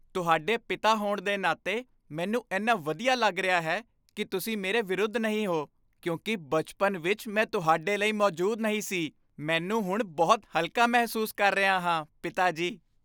ਤੁਹਾਡੇ ਪਿਤਾ ਹੋਣ ਦੇ ਨਾਤੇ, ਮੈਨੂੰ ਇੰਨਾ ਵਧੀਆ ਲੱਗ ਰਿਹਾ ਹੈ ਕੀ ਤੁਸੀਂ ਮੇਰੇ ਵਿਰੁੱਧ ਨਹੀਂ ਹੋ ਕਿਉਂਕਿ ਬਚਪਨ ਵਿੱਚ ਮੈਂ ਤੁਹਾਡੇ ਲਈ ਮੌਜੂਦ ਨਹੀਂ ਸੀ ਮੈਨੂੰ ਹੁਣ ਬਹੁਤ ਹਲਕਾ ਮਹਿਸੂਸ ਕਰ ਰਿਹਾ ਹਾਂ ਪਿਤਾ ਜੀ